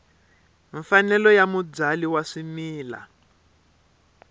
mfanelo ya mubyali wa swimila